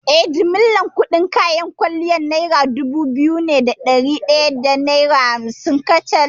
Eh, jimillar kuɗin kayan kwalliyar nera dubu biyu ne da ɗari ɗaya da hamsin kacal.